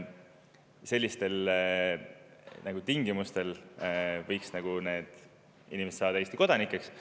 Sellistel tingimustel võiksid need inimesed saada Eesti kodanikeks.